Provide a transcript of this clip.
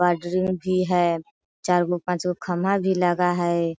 भी है चारगो-पांचगो खम्बा भी लगा हुआ है।